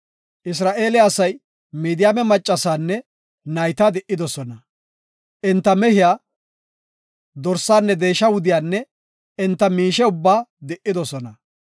Isra7eele asay Midiyaame maccasaanne nayta di7idosona; enta mehiya, dorsaanne deesha wudiyanne enta miishe ubbaa di7idosona.